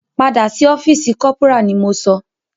Padà sí ọ́fìsì corporal ni mo sọ!